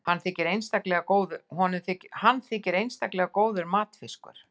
hann þykir einstaklega góður matfiskur